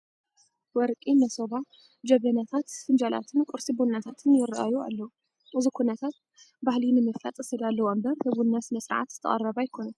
ወርቂ መሶባ፣ ጀበናታት፣ ፍንጃላትን ቁርሲ ቡናታትን ይርአዩ ኣለዉ፡፡ እዚ ኩነታ ባህሊ ንምፍላጥ ዝተዳለወ እምበር ንቡና ስነ ስርዓት ዝተቐረበ ኣይኮነን እዩ፡፡